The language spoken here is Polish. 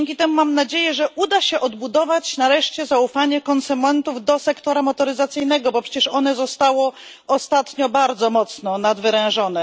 I dzięki temu mam nadzieję, że nareszcie uda się odbudować zaufanie konsumentów do sektora motoryzacyjnego, bo przecież ono zostało ostatnio bardzo mocno nadwyrężone.